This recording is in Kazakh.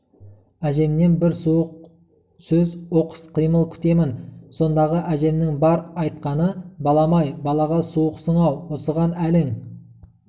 әжемнен бір суық сөз оқыс қимыл күтемін сондағы әжемнің бар айтқаны балам-ай балаға суықсың-ау осыған әлің